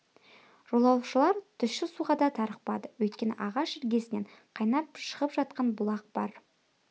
жолаушылар тұщы суға да тарықпады өйткені ағаш іргесінен қайнап шығып жатқан бұлақ бар